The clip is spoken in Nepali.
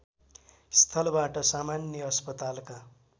स्थलबाट सामान्य अस्पतालका